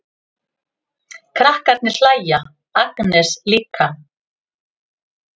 Krakkarnir hlæja, Agnes líka.